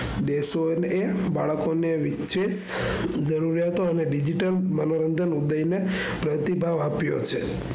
બાળકોને ઈચ્છે રહેતો અને digital મનોરંજન ઉતરીને ભાવ આપ્યો હશે.